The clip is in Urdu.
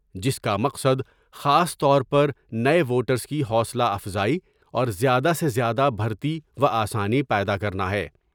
جس کا مقصد خاص طور پر نئے ووٹریس کی حوصلہ افزائی اور زیادہ سے زیادہ بھرتی و آسانی پیدا کرنا ہے ۔